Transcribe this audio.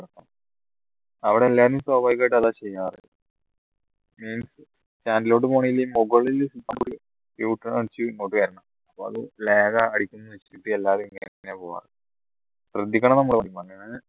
അവിടെ എല്ലാരും സ്വാഭാവികമായിട് അതാ ചെയ്യാറ് ഉം stand ലോട്ടു പോണെങ്കിൽ ഈ മുകളിൽ u turn അടിച് ഇങ്ങോട്ട് വരണം അപ്പോ അത് lag അടിക്കുന്ന എല്ലാരും ഇങ്ങനെയാ പോവ ശ്രദ്ധിക്കണം നമ്മള്